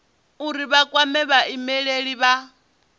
uri vha kwame vhaimeleli vha